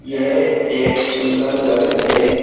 यह एक सुंदर घर है।